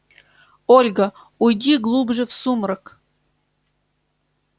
ольга уйди глубже в сумрак